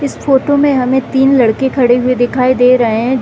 इस फोटो में हमें तीन लड़के खड़े हुए दिखाई दे रहे हैं |